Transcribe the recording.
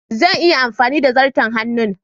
Zan iya amfani da zarto hannun